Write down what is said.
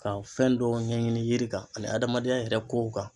Ka fɛn dɔw ɲɛɲini yiri kan ani adamadenya yɛrɛ kow kan.